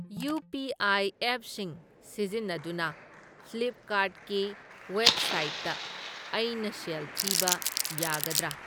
UPI. ꯑꯦꯞꯁꯤꯡ ꯁꯤꯖꯤꯟꯅꯗꯨꯅ Flipkart ꯀꯤ ꯋꯦꯕꯁꯥꯏꯠꯇ ꯑꯩꯅ ꯁꯦꯜ ꯊꯤꯕ ꯌꯥꯒꯗ꯭ꯔꯥ?